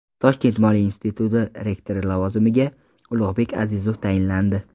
Toshkent moliya instituti rektori lavozimiga Ulug‘bek Azizov tayinlandi.